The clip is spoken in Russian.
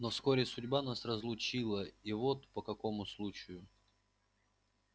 но вскоре судьба нас разлучила и вот по какому случаю